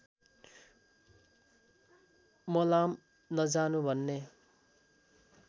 मलाम नजानु भन्ने